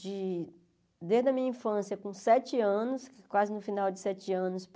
de desde a minha infância, com sete anos, quase no final de sete anos, para...